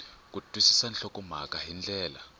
ku twisisa nhlokomhaka hi ndlela